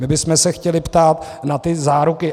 My bychom se chtěli ptát na ty záruky.